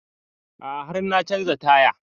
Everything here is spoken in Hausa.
A'a har na canza taya